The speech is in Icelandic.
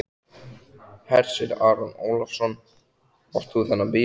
Hersir Aron Ólafsson: Átt þú þennan bíl?